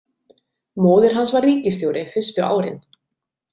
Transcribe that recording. Móðir hans var ríkisstjóri fyrstu árin.